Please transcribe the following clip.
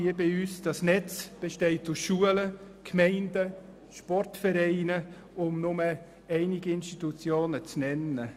Dieses besteht aus Schulen, Gemeinden und Sportvereinen, um nur einige Institutionen zu nennen.